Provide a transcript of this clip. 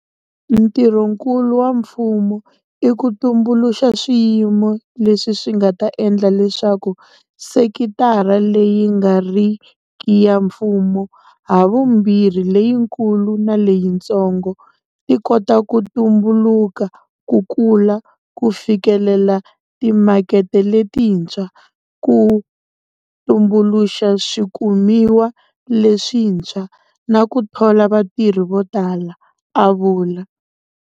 Ntirhonkulu wa mfumo i ku tumbuluxa swiyimo leswi swi nga ta endla leswaku sekitara leyi nga riki ya mfumo - havumbirhi leyikulu na leyitsongo - ti kota ku tumbuluka, ku kula, ku fikelela timakete letintshwa, ku tumbuluxa swikumiwa leswintshwa, na ku thola vatirhi vo tala, a vula.